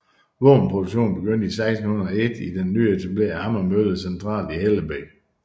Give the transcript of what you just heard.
Våbenproduktionen begyndte i 1601 i den nyetablerede hammermølle centralt i Hellebæk